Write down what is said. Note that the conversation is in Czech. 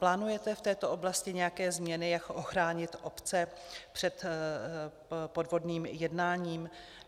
Plánujete v této oblasti nějaké změny, jak ochránit obce před podvodným jednáním?